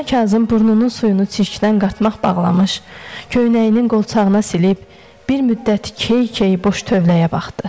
Dana Kazım burnunun suyunu çirkdən qatmaq bağlamış, köynəyinin qolçağına silib, bir müddət key-key boş tövləyə baxdı.